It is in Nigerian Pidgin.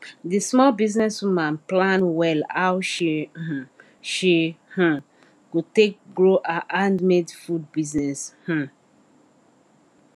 the small business woman plan well how she um she um go take grow her handmade food business um